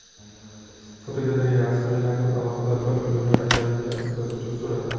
Fotogalereya: Avstraliyaning alohida bir dunyo ekanligini ko‘rsatuvchi suratlar.